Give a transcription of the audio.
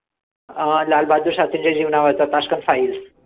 अं लाल बहादूर शास्त्रींच्या जीवनावरचा tashkent files